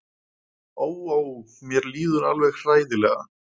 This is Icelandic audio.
Ó, ó, mér líður alveg hræðilega.